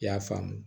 I y'a faamu